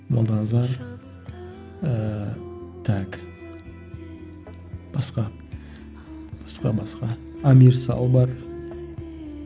молданазар ыыы так басқа басқа басқа амир сал бар